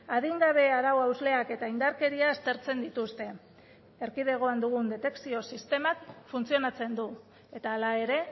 adingabe arau hausleak eta indarkeria aztertzen dituzte erkidegoan dugun detekzio sistemak funtzionatzen du eta hala ere